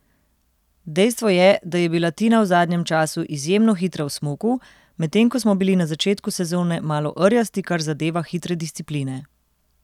Dejstvo je, da je bila Tina v zadnjem času izjemno hitra v smuku, medtem ko smo bili na začetku sezone malo rjasti kar zadeva hitre discipline.